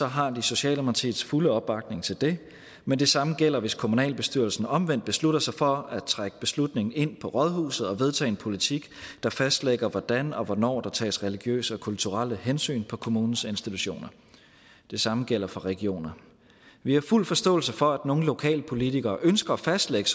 har de socialdemokratiets fulde opbakning til det men det samme gælder hvis kommunalbestyrelsen omvendt beslutter sig for at trække beslutningen ind på rådhuset og vedtage en politik der fastlægger hvordan og hvornår der tages religiøse og kulturelle hensyn på kommunens institutioner det samme gælder for regionerne vi har fuld forståelse for at nogle lokalpolitikere ønsker at fastlægge